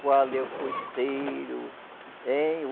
Qual é o coiceiro, hein?